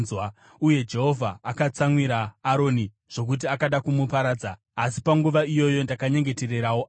Uye Jehovha akatsamwira Aroni zvokuti akada kumuparadza, asi panguva iyoyo ndakanyengetererawo Aroni.